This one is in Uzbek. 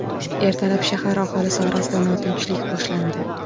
Ertalab shahar aholisi orasida notinchlik boshlandi.